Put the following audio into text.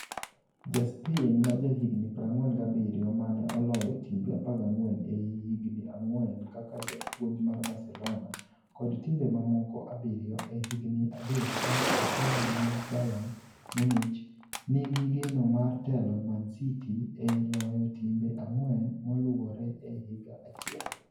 Ja Spain ma jahigni 47, mane oloyo timbe 14 ei higni ang'wen kaka japuonj mar Barcelona, ​​kod timbe mamoko abiriyo e higni adek ka otelo ne Bayern Munich, nigi geno mar telo Man City e loyo timbe ang'wen moluwore e higa achiel.